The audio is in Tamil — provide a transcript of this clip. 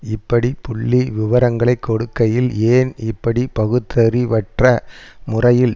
இப்படி புள்ளிவிவரங்களை கொடுக்கையில் ஏன் இப்படி பகுத்தறிவற்ற முறையில்